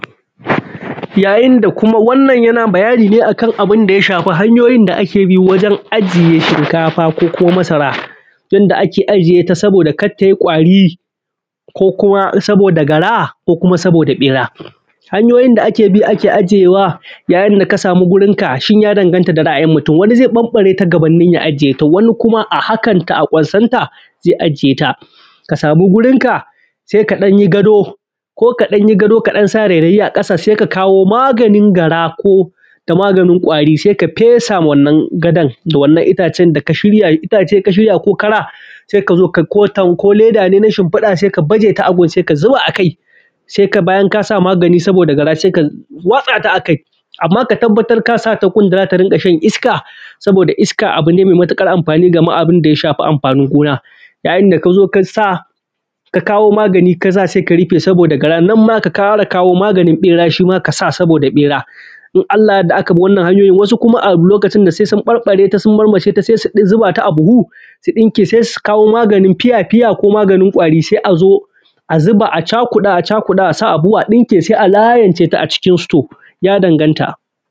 yayin da kuma wannan yanayi ne akan abun da ya shafi hanyoyin da ake bi wajen ajiye shinkafa ko kuma masara, yanda ake ajiye shinkafa saboda kar ta yi kwari, ko kuma saboda gara, ko kuma saboda ɓera. Hanyoyin da ake bi ai ajiyewa yayin da ka samu wurin ka, shin ya danganta da ra’ayin mutum, wani zai ɓambare ta gabanin ya ajiye ta, wani kuma a hakan ta a kwansata zai ajiye ta. Ka samu gurin ka, sai ka ɗan yi gado, ko ka ɗan yi gadonka, ka sa rairaye a ƙasa, je ka samo maganin gara ko da maganin kwari, sai ka fesa ma wannan gadon da wannan itacen da ka shiya. Itace ka shirya, ko kara, sai ka zo ka ɗauko leda ne na shinfiɗa, sai ka baje ta a wurin, sai bayan ka sa magani saboda gara, sai ka watsaya a kai. Amma ka tabbatar ka sa ta wurin da za ta dunga jin iska, saboda iska abu ne mai matuƙar amfani da abun da ya shafi anfanin gona, yayin da ka zo ka sa, ka kawo magani, ka sa, sai ka rufe saboda gara. Nan ma ka ƙara kawo maganin ɓera shi ma ka sa magani saboda ɓera in Allah ya yarda aka bi wannan hanyoyi. Wasu kuma a lokacin da, sai sun ɓambare ta, sun marmashe ta, sai su zuba a buhu, su ɗinke, sai su kawo maganin fiya-fiya ko maganin kwari, sai a zuba a chakuɗa, a chakuɗa, a sa a buhu, a ɗinke, sai a layince ta a cikin sito, ya danganta.